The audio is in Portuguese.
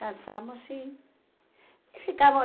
Casamos e e ficamos.